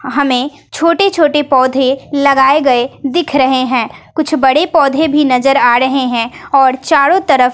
हमें छोटे छोटे पौधे लगाए गए दिख रहे हैं कुछ बड़े पौधे भी नजर आ रहे हैं और चारों तरफ--